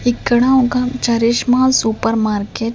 ఇక్కడ ఒక Charishma super market --